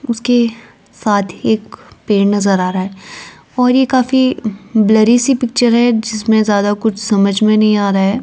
उसके साथ ही एक पेड़ नजर आ रहा है और ये काफी ब्लरी सी पिक्चर है जिसमें ज्यादा कुछ समझ में नहीं आ रहा है।